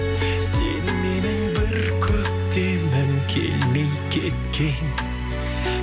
сен менің бір көктемім келмей кеткен